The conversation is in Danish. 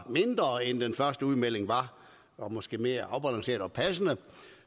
mindre end den første udmelding og måske mere afbalanceret og passende